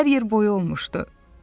Çünki hər yer boya olmuşdu.